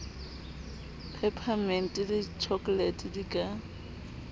peparemente le tjhokolete di ka